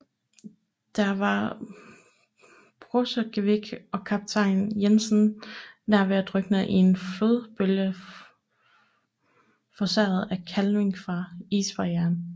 Der var Borchgrevink og kaptajn Jensen nær ved at drukne i en flodbølge forårsaget af kalving fra isbarrieren